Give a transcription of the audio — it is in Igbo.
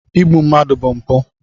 Igbu mmadụ bụ mpụ.